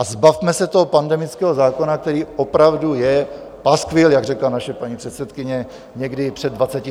A zbavme se toho pandemického zákona, který opravdu je paskvil, jak řekla naše paní předsedkyně někdy před 24 hodinami.